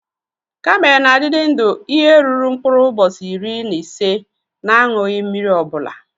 Kamel na adidi ndụ ihe ruru nkpurụ ubosi iri na ise n'anyuyi mmiri obula.